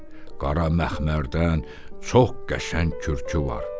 Qara məxmərdən çox qəşəng kürkü var.